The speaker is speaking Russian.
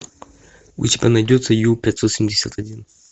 у тебя найдется ю пятьсот семьдесят один